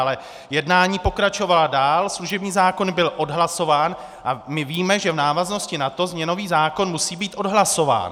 Ale jednání pokračovala dál, služební zákon byl odhlasován a my víme, že v návaznosti na to změnový zákon musí být odhlasován.